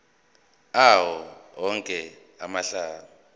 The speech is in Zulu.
awo onke amalunga